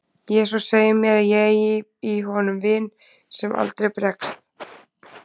Jesús segir mér að ég eigi í honum vin sem aldrei bregst.